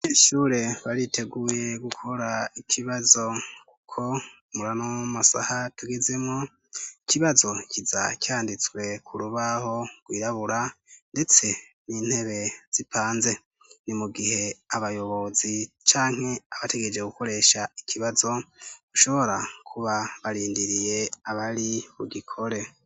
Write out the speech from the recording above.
aheshure bariteguye gukora ikibazo kuko murano wamasaha tugezemo ikibazo kizacyanditswe ku rubaho gwirabura ndetse n'intebe zipanze ni mu gihe abayobozi canke abategereje gukoresha ikibazo ushobora kuba barindiriye abari bugikore